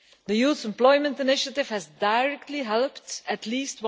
The Youth Employment Initiative has directly helped at least